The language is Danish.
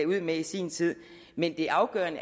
med i sin tid men det afgørende